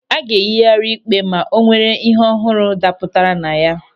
A ga-eyighari ịkpe ma o nwere ịhe ọhụrụ dapụtara na ya.